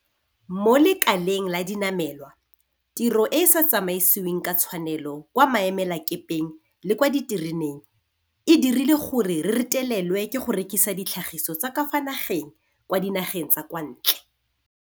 Mo lekaleng la dinamelwa, tiro e e sa tsamaisiweng ka tshwanelo kwa maemelakepeng le kwa ditereneng e dirile gore re retelelwe ke go rekisa ditlhagisiwa tsa ka fa nageng kwa dinageng tsa kwa ntle.